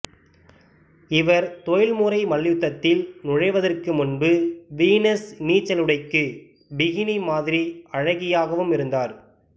இவர் தொழில்முறை மல்யுத்தத்தில் நுழைவதற்கு முன்பு வீனஸ் நீச்சலுடைக்கு பிகினி மாதிரி அழகியாகவும் இருந்தார்